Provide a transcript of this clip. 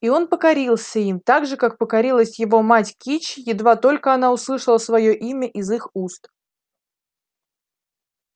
и он покорился им так же как покорилась его мать кичи едва только она услышала своё имя из их уст